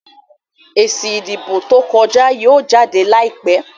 èsì ìdìbò tó kọja yíò jáde láìpé.